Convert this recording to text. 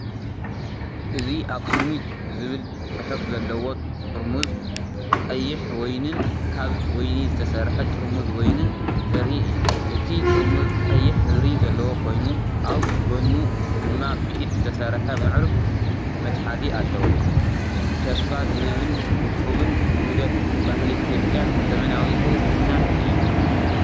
እዚ “ኣክሱሚት”ዝብል ጽሑፍ ዘለዎ ጥርሙዝ ቀይሕ ወይንን ካብ ወይኒ ዝተሰርሐ ጥርሙዝ ወይንን ዘርኢ እዩ። እቲ ጥርሙዝ ቀይሕ ሕብሪ ዘለዎ ኮይኑ ኣብ ጎድኑ ድማ ብኢድ ዝተሰርሐ ምዕሩግ መትሓዚ ኣለዎ። ተስፋ ዝህብን ውቁብን ውህደት ባህሊ ኢትዮጵያን ዘመናዊ ንጽህናን እዩ።